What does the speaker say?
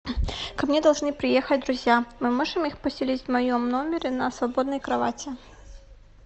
ко мне должны приехать друзья мы можем их поселить в моем номере на свободной кровати